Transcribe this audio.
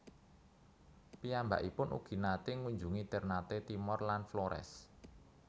Piyambakipun ugi naté ngunjungi Ternate Timor lan Flores